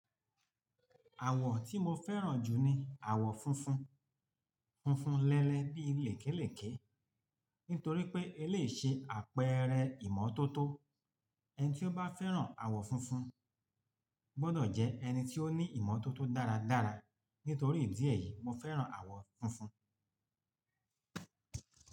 Àwọ̀ tí mo fẹ́ràn jù ni àwọ̀ funfun, funfun lẹ́lẹ́ bí i lèkélèké. Nítorí pé e lè ṣe àpẹẹrẹ ìmọ́tótó. Ẹni tí ó bá fẹ́ràn àwọ̀ funfun gbọdọ̀ jẹ ẹni tí ó ní ìmọ́tótó dáradára. Nítorí ìdí èyí, mo fẹ́ràn àwọ̀ funfun.